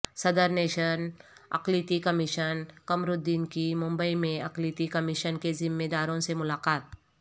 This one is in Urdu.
صدرنشین اقلیتی کمیشن قمرالدین کی ممبئی میں اقلیتی کمیشن کے ذمہ داروں سے ملاقات